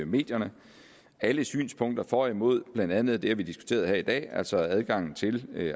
medierne alle synspunkter for og imod blandt andet det vi har diskuteret her dag altså adgangen til